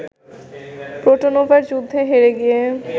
প্রোটোনোভোর যুদ্ধে হেরে গিয়ে